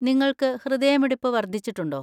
നിങ്ങൾക്ക് ഹൃദയമിടിപ്പ് വർദ്ധിച്ചിട്ടുണ്ടോ?